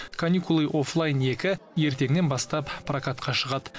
каникулы оффлайн екі ертеңнен бастап прокатқа шығады